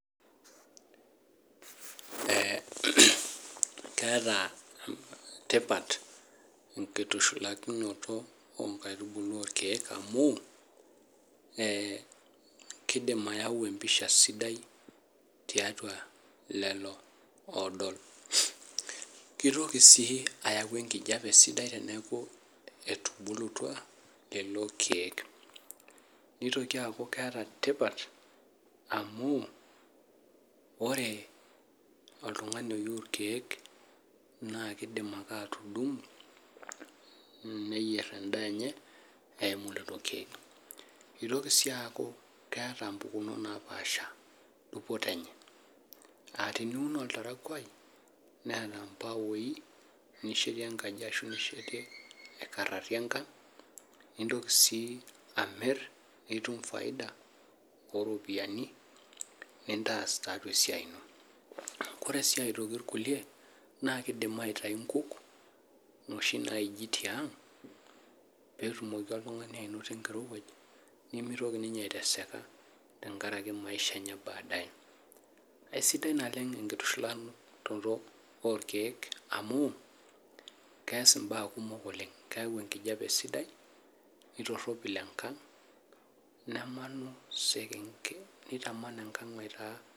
Eeh keeta tipat enkitushulakinoto oo nkaitubulu oo rkiek amu keyau empiasha sidai tiatua lelo oodol. Keitoki sii ayau enkijape sidai teniaku etubulutua lelo kiek, nitoki aaku keeta tipat amu ore oltungani oyieu rkiek naa kidim ake atudungo neyier endaa enye eyimu kulo kiek. Keitoko sii aku keeta mpukunot naapasha dupoto enye aah teniun oltarakwai neeta mpawoi nishetie enkaji ashu ninkararie enkang nintoki sii amirr nitum faida oo ropiyiani nintaas taa siake esiai ino. ore sii aitoki nkulie keidim aitayu nkuk noshi naaiji tiang netumoki oltungani ainoto enkirowuaj nemitoki ninye aiteseka tenkaraki maisha enye ee baadaye aisidai naleng enkitushulakinoto oo rkiek amu keas mbaa kumok oleng keyau enkijape sidai neitoropil enkang nemanu sekenge neitaman enkang aitaa..